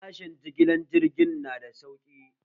Farashen jigilan jiigin nada sauƙi